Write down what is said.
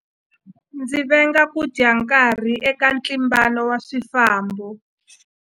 Ndzi venga ku dya nkarhi eka ntlimbano wa swifambo.